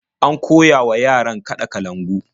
An koya wa yaran kaɗa kalangu.